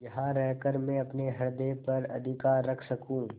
यहाँ रहकर मैं अपने हृदय पर अधिकार रख सकँू